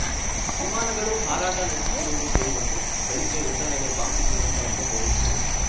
ವಿಮಾನಗಳು ಹಾರಾಟ ನಡೆಸುತ್ತಿರುವುದು ಕೇಳಿಬಂತು ಬೆಳಗ್ಗೆ ಎದ್ದ ಮೇಲೆ ಬಾಂಬ್‌ ಬಿದ್ದಿರುವ ಸ್ಥಳಕ್ಕೆ ಹೋಗಿದ್ದೆ